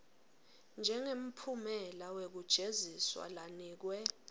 njengemphumela wekujeziswa lanikwe